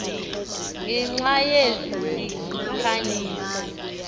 ngenxa yezi zikhanyiso